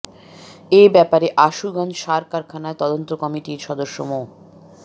এ ব্যাপারে আশুগঞ্জ সার কারখানার তদন্ত কমিটির সদস্য মো